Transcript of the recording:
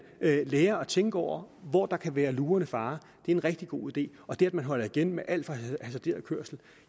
lærer at tænke over hvor der kan være lurende farer er en rigtig god idé og det at man holder igen med alt for hasarderet kørsel